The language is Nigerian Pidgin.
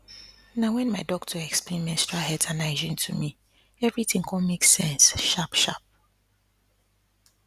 na when my doctor explain menstrual health and hygiene to me everything come make sense sharp sharp